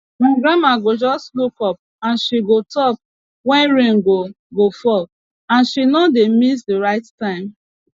my grandma go just look up and she go talk when rain go go fall and she no dey miss the right time